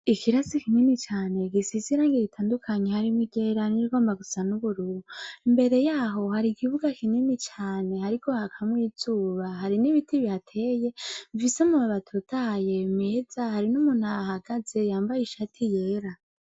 Ikarasi kinini cane gisize irangi ritandukanye harimwo iryera n'irigomba gusa n'ubururu, imbere yaho hari ikibuga kinini cane hariko hakamwo izuba hari n'ibiti bihateye bifise amababi atotahaye meza hari n'umuntu ahahagaze yambaye ishati yera.